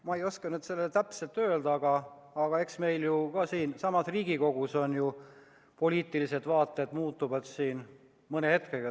Ma ei oska seda nüüd täpselt öelda, aga eks meil ju siin Riigikoguski võivad poliitilised vaated mõne hetkega muutuda.